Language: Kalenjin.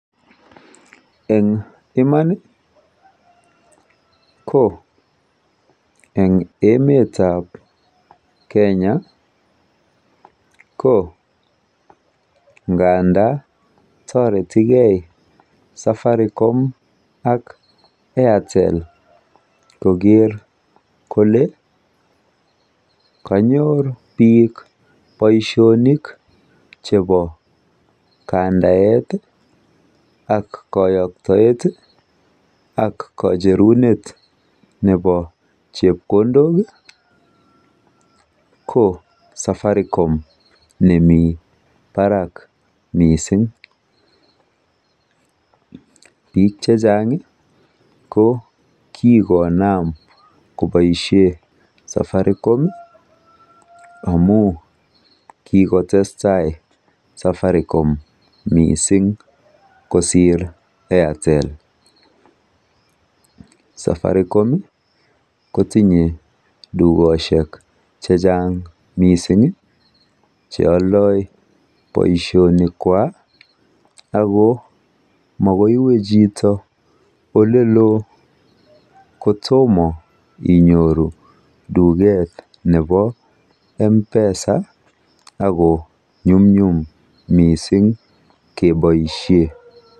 Eng iman ko eng emetab Kenya ko ng'anda toretigei Safaricom ak Airtel koker kole kanyor biik boishoni chebo, kandaet ak kayoktoet ak kacherunet nebo chepkondok ko Safaricom nemi barak mising. Biik che chang ko kikonam koboishe safaricon amu kikotestai safaricom mising kosir airtel. Safaricom kotindoi tukoshek chechang mising cheoldai boishonikwai ako makoi iwe chito oleloo kotoma inyoru tuket nebo mpesa ako nyumnyum keboishe.